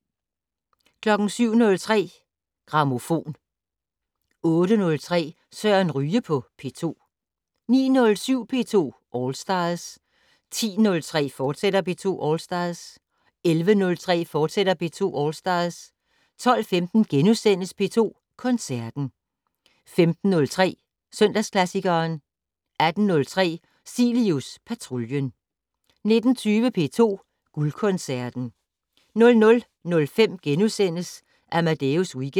07:03: Grammofon 08:03: Søren Ryge på P2 09:07: P2 All Stars 10:03: P2 All Stars, fortsat 11:03: P2 All Stars, fortsat 12:15: P2 Koncerten * 15:03: Søndagsklassikeren 18:03: Cilius Patruljen 19:20: P2 Guldkoncerten 00:05: Amadeus Weekend *